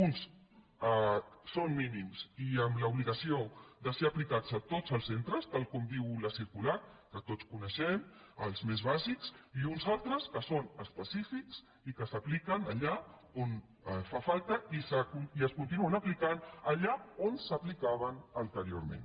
uns són mínims i amb l’obligació de ser aplicats a tots els centres tal com diu la circular que tots coneixem els més bàsics i uns altres són específics i s’apliquen allà on fa falta i es continuen aplicant allà on s’aplicaven anteriorment